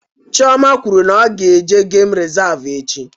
Chioma kwụrụ na-ọ ga eje geem resavu echi